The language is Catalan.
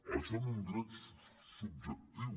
això en un dret subjectiu